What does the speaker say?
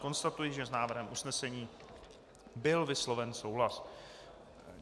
Konstatuji, že s návrhem usnesení byl vysloven souhlas.